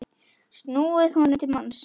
snúið honum til manns.